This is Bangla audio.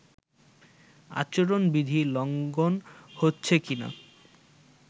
আচরণবিধি লঙ্ঘন হচ্ছে কিনা